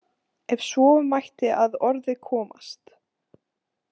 Ef svo mætti að orði komast.